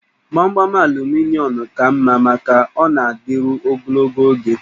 Gbamgbam aluminịọm ka mma maka ọ na-adịru ogologo oge